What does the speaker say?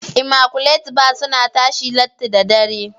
"immaculate bar" suna tashi latti da dare.